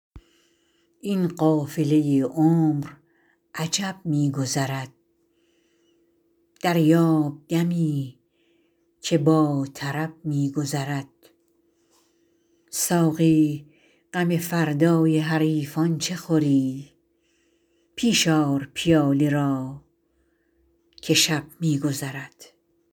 این قافله عمر عجب می گذرد دریاب دمی که با طرب می گذرد ساقی غم فردای حریفان چه خوری پیش آر پیاله را که شب می گذرد